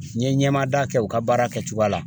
N ye ɲɛmaada kɛ u ka baara kɛcogoya la.